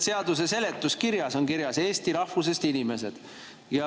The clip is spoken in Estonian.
Seaduse seletuskirjas on kirjas "eesti rahvusest inimesed".